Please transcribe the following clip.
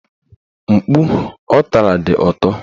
Mkpu ọ tara dị ụtọ